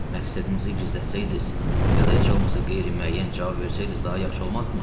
Məqsədinizi gizlətsəydiz, ya da heç olmasa qeyri-müəyyən cavab versəydiz daha yaxşı olmazdımı?